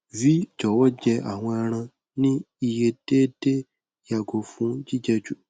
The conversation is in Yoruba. jọwọ jẹ awọn ẹran ni iye deede yago fun jijẹ ju